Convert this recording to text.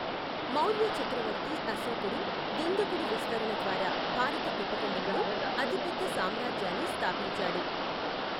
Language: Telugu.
మౌర్య చక్రవర్తి అశోకుడు దుందుడుకు విస్తరణ ద్వారా భారత ఉపఖండంలో అతిపెద్ద సామ్రాజ్యాన్ని స్థాపించాడు.